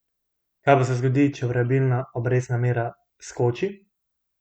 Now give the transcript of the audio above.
Kaj pa se zgodi, če variabilna obrestna mera skoči?